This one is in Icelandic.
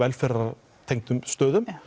velferðartengdum stöðum